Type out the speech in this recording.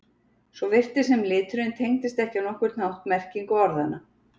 Svo virtist sem liturinn tengdist ekki á nokkurn hátt merkingu orðanna.